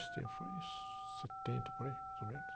Faz tempo, foi em setenta, por aí, mais ou menos.